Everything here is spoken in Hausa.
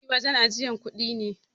Banki wajan ajiyar kudi ne.